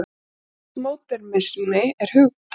Póstmódernismi er hugtak.